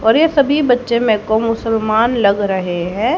और ये सभी बच्चे मे को मुसलमान लग रहे हैं।